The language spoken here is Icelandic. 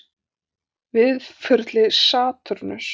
Víðförli við Satúrnus